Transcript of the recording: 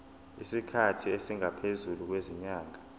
isikhathi esingaphezulu kwezinyanga